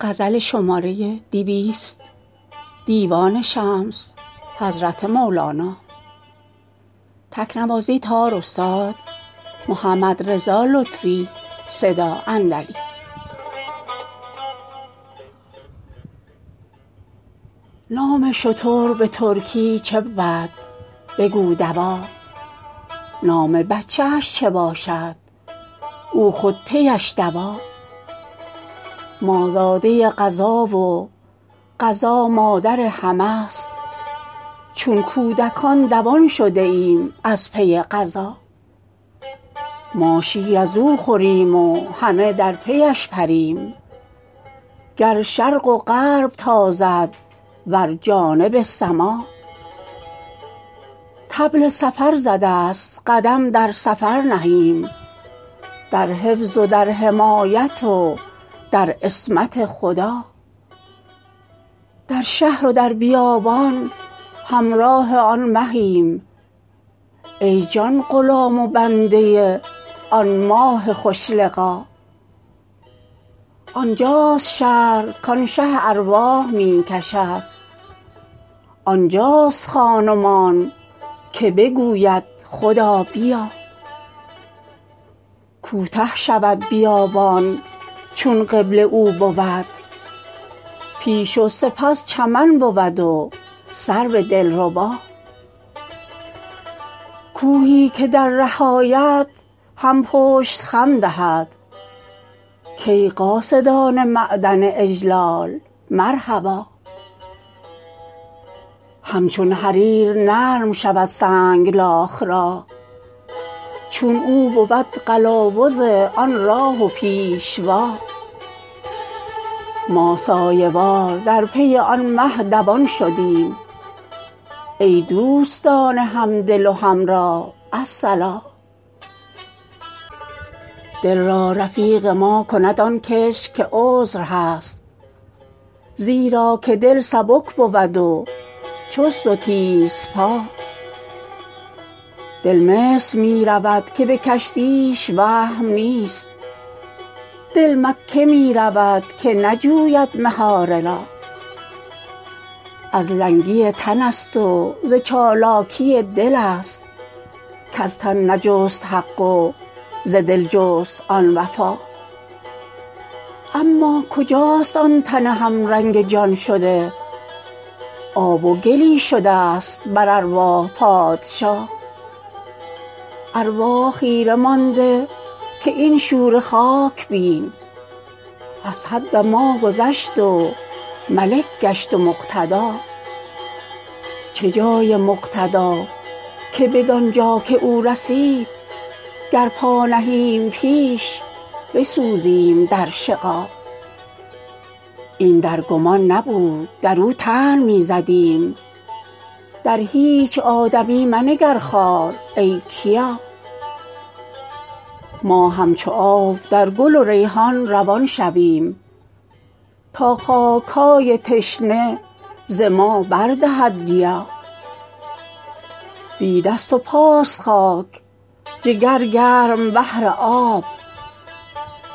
نام شتر به ترکی چه بود بگو دوا نام بچه ش چه باشد او خود پیش دوا ما زاده قضا و قضا مادر همه ست چون کودکان دوان شده ایم از پی قضا ما شیر از او خوریم و همه در پیش پریم گر شرق و غرب تازد ور جانب سما طبل سفر زده ست قدم در سفر نهیم در حفظ و در حمایت و در عصمت خدا در شهر و در بیابان همراه آن مهیم ای جان غلام و بنده آن ماه خوش لقا آنجاست شهر کان شه ارواح می کشد آنجاست خان و مان که بگوید خدا بیا کوته شود بیابان چون قبله او بود پیش و سپس چمن بود و سرو دلربا کوهی که در ره آید هم پشت خم دهد کای قاصدان معدن اجلال مرحبا همچون حریر نرم شود سنگلاخ راه چون او بود قلاوز آن راه و پیشوا ما سایه وار در پی آن مه دوان شدیم ای دوستان همدل و همراه الصلا دل را رفیق ما کند آن کس که عذر هست زیرا که دل سبک بود و چست و تیزپا دل مصر می رود که به کشتیش وهم نیست دل مکه می رود که نجوید مهاره را از لنگی تن ست و ز چالاکی دل ست کز تن نجست حق و ز دل جست آن وفا اما کجاست آن تن همرنگ جان شده آب و گلی شده ست بر ارواح پادشا ارواح خیره مانده که این شوره خاک بین از حد ما گذشت و ملک گشت و مقتدا چه جای مقتدا که بدان جا که او رسید گر پا نهیم پیش بسوزیم در شقا این در گمان نبود در او طعن می زدیم در هیچ آدمی منگر خوار ای کیا ما همچو آب در گل و ریحان روان شویم تا خاک های تشنه ز ما بر دهد گیا بی دست و پاست خاک جگر گرم بهر آب